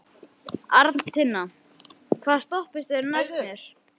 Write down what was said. Arntinna, hvaða stoppistöð er næst mér?